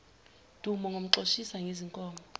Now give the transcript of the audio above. dumo ngimxoshisa ngezinkomo